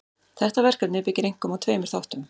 Þetta verkefni byggir einkum á tveimur þáttum.